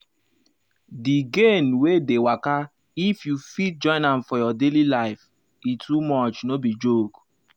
the gain wey dey waka if you fit join am for your daily life e too much no be joke.